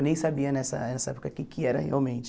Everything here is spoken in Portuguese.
Eu nem sabia nessa essa época o que que era realmente.